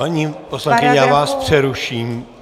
Paní poslankyně, já vás přeruším.